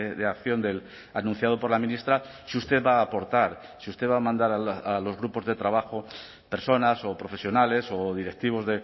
de acción del anunciado por la ministra si usted va a aportar si usted va a mandar a los grupos de trabajo personas o profesionales o directivos